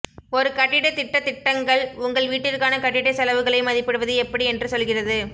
ஒரு கட்டிடத் திட்டத் திட்டங்கள் உங்கள் வீட்டிற்கான கட்டிட செலவுகளை மதிப்பிடுவது எப்படி என்று சொல்கிறது